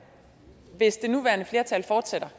hvis det nuværende flertal fortsætter